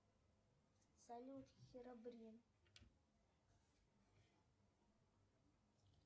салют херобрин